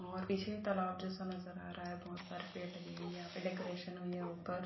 और पीछे तलाब जैसा नजर आ रहा है बहोत सारे पेड़ लगे हुए हैं यहाँ पे डेकोरेशन हुई है ऊपर।